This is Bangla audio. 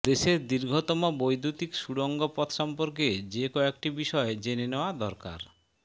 দেশের দীর্ঘতম বৈদ্যুতিক সুড়ঙ্গ পথ সম্পর্কে যে কয়েকটি বিষয় জেনে নেওয়া দরকার